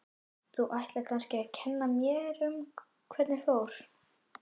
Þú ætlar kannski að kenna mér um hvernig fór.